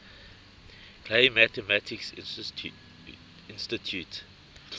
clay mathematics institute